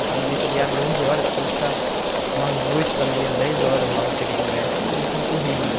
Então, a bilheteria abre onze horas, você tem que estar umas oito da manhã, dez horas lá para pegar o ingresso, porque é concorrido né.